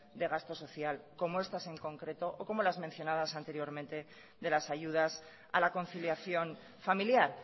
de gasto social como estas en concreto o como las mencionadas anteriormente de las ayudas a la conciliación familiar